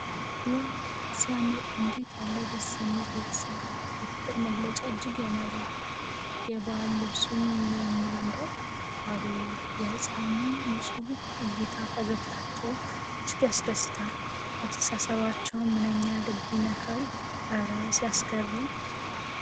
ዋው ሲያምር! እንዴት ያለ ደስ የሚል ቤተሰብ! የፍቅር መገለጫ እጅግ ያማልላል። የባህል ልብሱ ምንኛ ያምራል! አቤት የሕፃኑ ንፁህ እይታ! ፈገግታቸው እጅግ ያስደስታል። መተሳሰባቸው ምንኛ ልብን ይነካል። እረ ሲያስገርም!